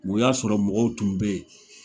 O y'a sɔrɔ mɔgɔw tun bɛ yen